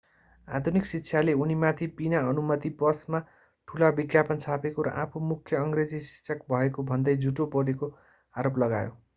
आधुनिक शिक्षाले उनीमाथि बिना अनुमति बसमा ठूला विज्ञापन छापेको र आफू मुख्य अंग्रेजी शिक्षक भएको भन्दै झूट बोलेको आरोप लगायो